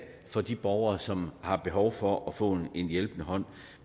for de borgere som har behov for at få en hjælpende hånd